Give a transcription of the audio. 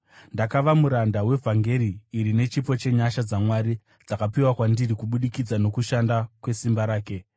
Ndakava muranda wevhangeri iri nechipo chenyasha dzaMwari dzakapiwa kwandiri kubudikidza nokushanda kwesimba rake.